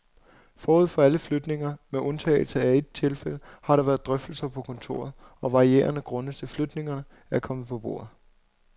Forud for alle flytninger, med undtagelse af et tilfælde, har der været drøftelser på kontoret, og varierede grunde til flytningerne er kommet på bordet.